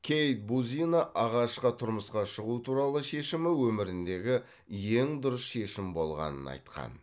кейт бузина ағашқа тұрмысқа шығу туралы шешімі өміріндегі ең дұрыс шешім болғанын айтқан